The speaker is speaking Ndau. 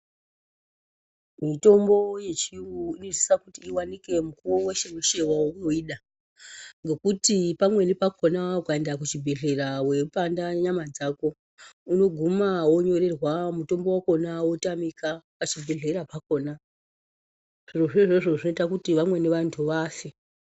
Mitombo yechiyungu inosisa kuti iwanike mukuwo weshe weshe waunoida ngekuti pamweni pakona ukaenda kuchibhedhleya weipanda nyama dzako, unoguma wonyorerwa mutombo wakona wotamika pazvibhedhlera pakona. Zvirozvo izvozvo zvinoita kuti vamweni vantu vafe.